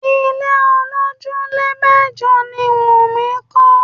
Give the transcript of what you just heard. Ilé olojule mẹ́jọ ni Wumi kọ́